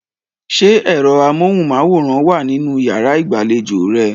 Ṣé ẹ̀rọ amóhùnmáwòrán wà nínú yàrá ìgbàlejò rẹ?